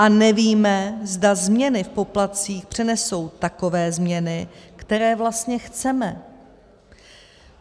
A nevíme, zda změny v poplatcích přenesou takové změny, které vlastně chceme.